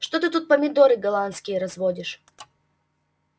что ты тут помидоры голландские разводишь